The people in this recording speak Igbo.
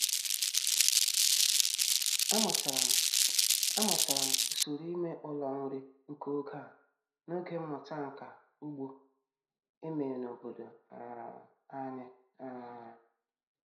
Amụtara m Amụtara m usoro ime ụlọ nri nke oge a n'oge mmụta nka ugbo e mere n'obodo um anyị. um